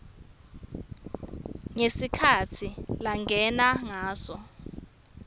ngesikhatsi langene ngaso